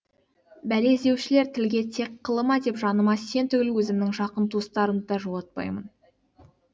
бәле іздеушілер тілге тиек қылы ма деп жаныма сен түгіл өзімнің жақын туыстарымды да жолатпаймын